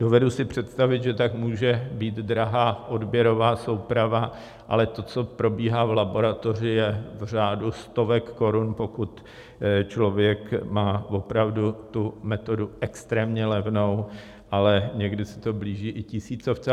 Dovedu si představit, že tak může být drahá odběrová souprava, ale to, co probíhá v laboratoři, je v řádu stovek korun, pokud člověk má opravdu tu metodu extrémně levnou, ale někdy se to blíží i tisícovce.